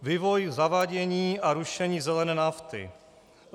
Vývoj zavádění a rušení zelené nafty.